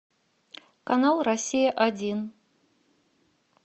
канал россия один